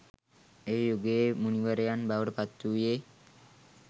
ඒ යුගයේ මුනිවරයන් බවට පත්වූයේ